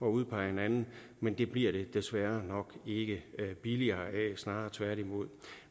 at udpege en anden men det bliver det desværre nok ikke billigere af snarere tværtimod